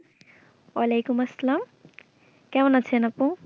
ওয়ালিকুম আসালাম কেমন আছেন আপু?